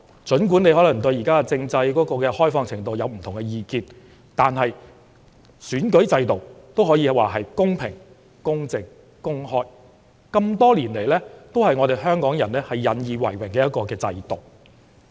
儘管大家可能對現行政制的開放程度持不同意見，但選舉制度可說是公平、公正和公開，是多年來香港人引以為榮的制度。